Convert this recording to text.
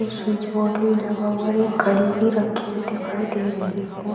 एक switch board भी लगा हुआ है और एक घड़ी भी रखी हुई दिखाई दे रही है।